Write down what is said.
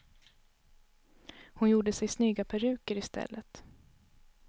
Hon gjorde sig snygga peruker i stället.